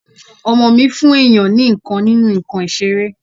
ọmọ mí fún èyàn ni ìkan nínú ǹkan ìseré